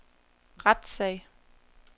retssag